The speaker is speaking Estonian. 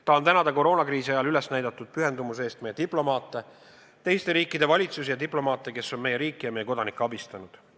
Tahan tänada koroonakriisi ajal üles näidatud pühendumuse eest meie diplomaate, teiste riikide valitsusi ja diplomaate, kes on meie riiki ja meie kodanikke abistanud.